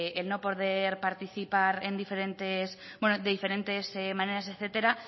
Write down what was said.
el no poder participar en diferentes bueno de diferentes maneras etcétera